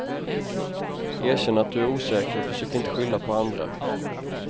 Erkänn att du är osäker och försök inte skylla på andra.